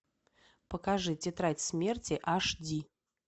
покажи тетрадь смерти аш ди